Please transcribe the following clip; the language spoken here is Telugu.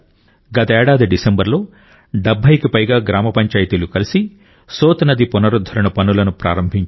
గతేడాది డిసెంబరులో 70కి పైగా గ్రామ పంచాయతీలు కలిసి సోత్ నది పునరుద్ధరణ పనులను ప్రారంభించాయి